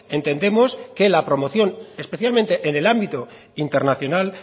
entendemos que la promoción especialmente en el ámbito internacional